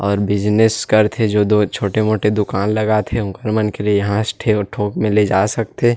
और बिज़नेस करथे जो दो छोटे मोठे दुकान लगाथे उकर मन के लिए यहाँ से ठ थोक में ले जा सकथे।